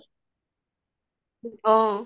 অহ